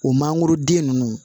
O mangoro den ninnu